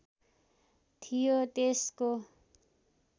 थियो त्यसको